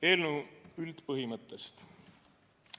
Eelnõu üldpõhimõttest.